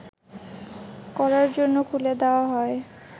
করার জন্য খুলে দেয়া হয়